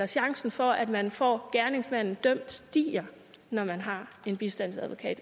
chancen for at man får gerningsmanden dømt stiger når man har en bistandsadvokat